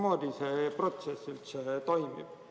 Mismoodi see protsess üldse toimib?